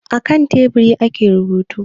A kan teburi ake rubutu